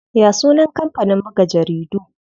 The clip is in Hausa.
Ya sunan kampanin buga jaridu?